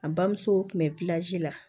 A bamuso tun bɛ la